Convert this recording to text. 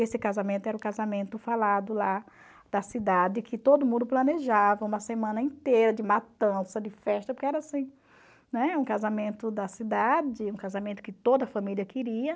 Esse casamento era o casamento falado lá da cidade, que todo mundo planejava uma semana inteira de matança, de festa, porque era assim, né, um casamento da cidade, um casamento que toda a família queria.